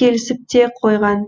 келісіп те қойған